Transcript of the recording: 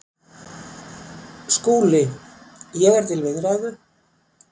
SKÚLI: Ég er til viðræðu.